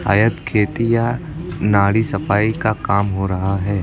आयत खेती या नारी सफाई का काम हो रहा है।